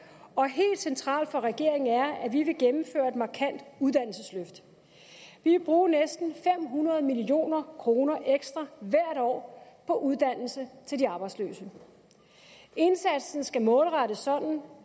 og helt centralt for regeringen er det at vi vil gennemføre et markant uddannelsesløft vi vil bruge næsten fem hundrede million kroner ekstra hvert år på uddannelse til de arbejdsløse indsatsen skal målrettes sådan